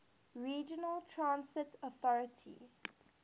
regional transit authority